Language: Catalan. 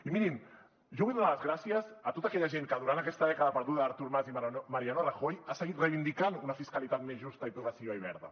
i mirin jo vull donar les gràcies a tota aquella gent que durant aquesta dècada perduda d’artur mas i mariano rajoy ha seguit reivindicant una fiscalitat més justa i progressiva i verda